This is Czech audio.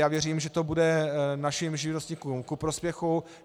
Já věřím, že to bude našim živnostníkům ku prospěchu.